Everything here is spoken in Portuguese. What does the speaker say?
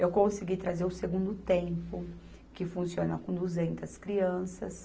Eu consegui trazer o Segundo Tempo, que funciona com duzentas crianças.